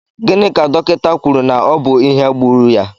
Gịnị ka dọkịta kwụrụ na ọ bu ìhè gbúrú ya?